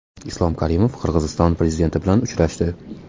Islom Karimov Qirg‘iziston prezidenti bilan uchrashdi.